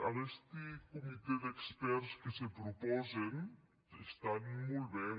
aguesti comitès d’expèrts que se propòsen estan molt ben